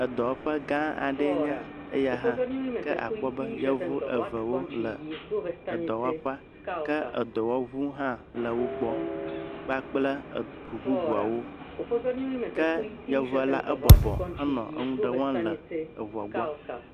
Edɔwɔƒe gã aɖee nye eya hã, ke akpɔ be yevu eve wole edɔwɔƒea ke akpɔ be edɔwɔʋu le wogbɔ kpakple eʋu bubuawo ke yevua la ebɔbɔ eye wonɔ nuɖe wɔm le eʋua gbɔ.